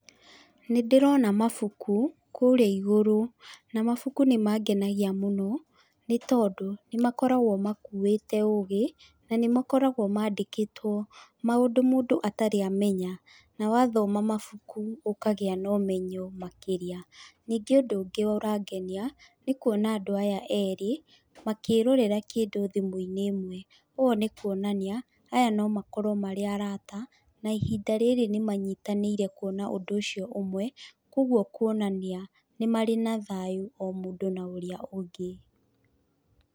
Nĩ ndĩrona mabuku, kũrĩa igũrũ na mabuku nĩ mangenagia mũno nĩ tondũ nĩ makoragwo makũĩte ũgĩ, na nĩ makoragwo mandĩkĩtwo maũndũ mũndũ atarĩ amenya. Na wathoma mabuku ũkagĩa na ũmenyo makĩria. Ningĩ ũndũ ũngĩ ũrangenia, nĩ kuona andũ aya eerĩ makĩrorera kĩndũ thimũ-inĩ ĩmwe. Ũguo nĩ kuonania aya no makorwo marĩ araata na ihinda rĩrĩ nĩ manyitanĩire kuona ũndũ ũcio ũmwe, kũguo kuonania nĩ marĩ na thayũ o mũndũ na ũrĩa ũngĩ.